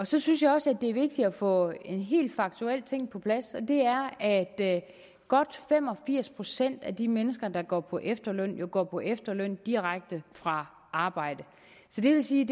så synes jeg også det er vigtigt at få en helt faktuel ting på plads og det er at godt fem og firs procent af de mennesker der går på efterløn jo går på efterløn direkte fra arbejde så det vil sige